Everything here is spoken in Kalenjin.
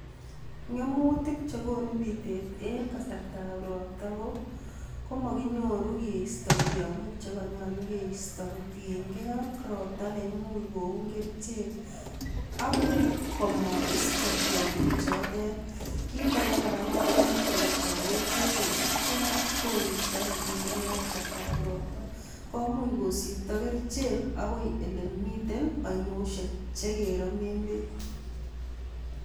Ngemutik chekonu bitet en kasartab robta ko mokinyoru keisto tiong'ik chekonyolu keisto kotieng'e ak robta neimuch koun kerichek ak komoisto tiong'ichotet, kiit akee kora komuch kowechowech beek kosipkee ak koristo nemiten en kasartab robta, komuch kosiptoo kerichek akoi elemii ainosiek chekeromen beek.